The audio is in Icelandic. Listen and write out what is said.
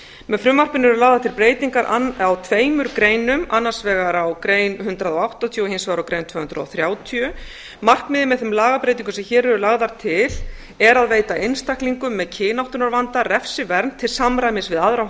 með frumvarpinu eru lagðar til breytingar á tveimur greinum annars vegar á grein hundrað og áttatíu og hins vegar á grein tvö hundruð og þrjátíu markmiðið með þeim lagabreytingum sem hér eru lagðar til er að veita einstaklingum með kynáttunarvanda refsivernd til samræmis við aðra